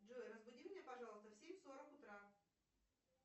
джой разбуди меня пожалуйста в семь сорок утра